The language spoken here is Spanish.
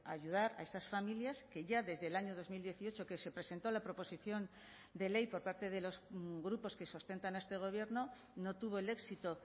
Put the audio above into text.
ayudar a esas familias que ya desde el año dos mil dieciocho que se presentó la proposición de ley por parte de los grupos que sustentan a este gobierno no tuvo el éxito